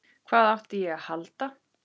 Hvað átti ég að halda?